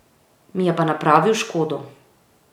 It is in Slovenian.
Mi je pa napravil škodo.